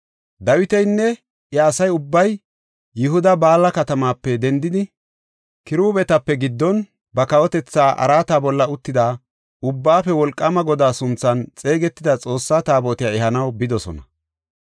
Dawitinne iya asa ubbay Yihuda Baala katamaape dendidi, kiruubetape giddon ba kawotetha araata bolla uttida Ubbaafe Wolqaama Godaa sunthan xeegetida Xoossa Taabotiya ehanaw bidosona.